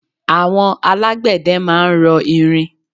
Àwọn alágbẹ̀dẹ máa ń rọ irin.